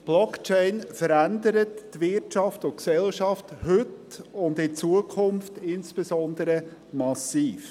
Blockchain verändert die Wirtschaft und Gesellschaft heute und in Zukunft insbesonders massiv.